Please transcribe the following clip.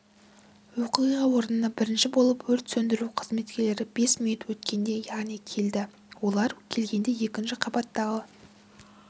оқиға орнына бірінші болып өрт сөндіру қызметкерлері бес минут өткенде яғни келді олар келгенде екінші қабаттағы